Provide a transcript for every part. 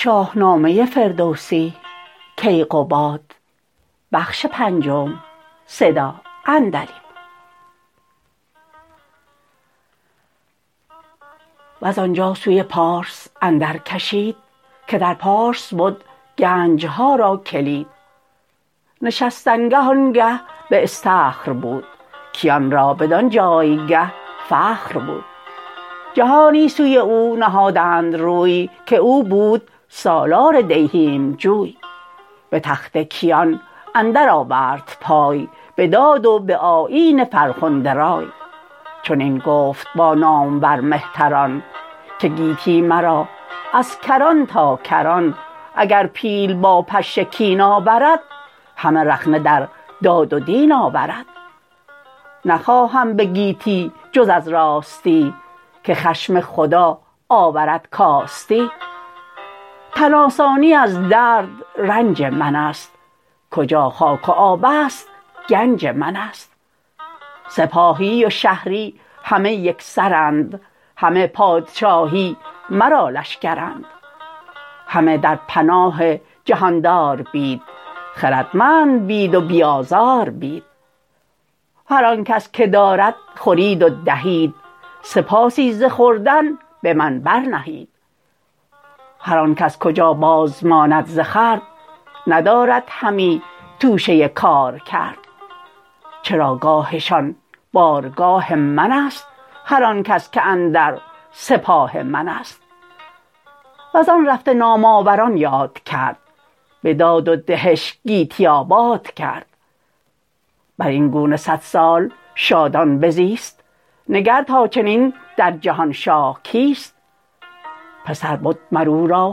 وزانجا سوی پارس اندر کشید که در پارس بد گنجها را کلید نشستنگه آن گه به اسطخر بود کیان را بدان جایگه فخر بود جهانی سوی او نهادند روی که او بود سالار دیهیم جوی به تخت کیان اندر آورد پای به داد و به آیین فرخنده رای چنین گفت با نامور مهتران که گیتی مرا از کران تا کران اگر پیل با پشه کین آورد همه رخنه در داد و دین آورد نخواهم به گیتی جز از راستی که خشم خدا آورد کاستی تن آسانی از درد و رنج منست کجا خاک و آبست گنج منست سپاهی و شهری همه یکسرند همه پادشاهی مرا لشکرند همه در پناه جهاندار بید خردمند بید و بی آزار بید هر آنکس که دارد خورید و دهید سپاسی ز خوردن به من برنهید هرآنکس کجا بازماند ز خورد ندارد همی توشه کارکرد چراگاهشان بارگاه منست هرآنکس که اندر سپاه منست وزان رفته نام آوران یاد کرد به داد و دهش گیتی آباد کرد برین گونه صدسال شادان بزیست نگر تا چنین در جهان شاه کیست پسر بد مر او را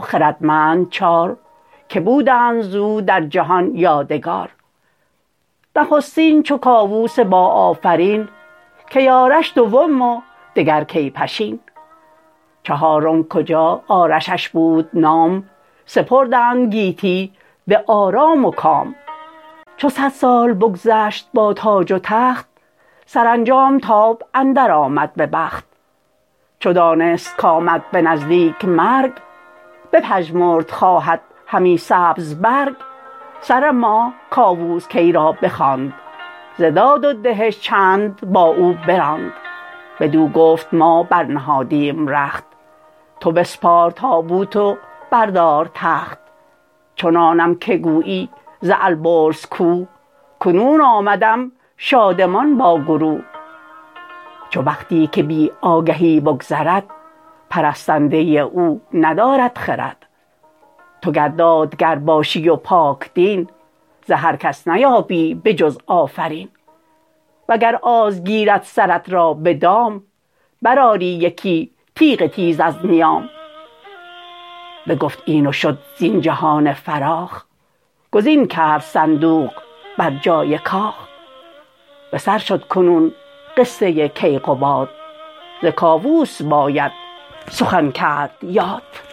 خردمند چار که بودند زو در جهان یادگار نخستین چو کاووس باآفرین کی آرش دوم و دگر کی پشین چهارم کجا آرشش بود نام سپردند گیتی به آرام و کام چو صد سال بگذشت با تاج و تخت سرانجام تاب اندر آمد به بخت چو دانست کامد به نزدیک مرگ بپژمرد خواهد همی سبز برگ سر ماه کاووس کی را بخواند ز داد و دهش چند با او براند بدو گفت ما بر نهادیم رخت تو بسپار تابوت و بردار تخت چنانم که گویی ز البرز کوه کنون آمدم شادمان با گروه چو بختی که بی آگهی بگذرد پرستنده او ندارد خرد تو گر دادگر باشی و پاک دین ز هر کس نیابی به جز آفرین و گر آز گیرد سرت را به دام برآری یکی تیغ تیز از نیام بگفت این و شد زین جهان فراخ گزین کرد صندوق بر جای کاخ بسر شد کنون قصه کیقباد ز کاووس باید سخن کرد یاد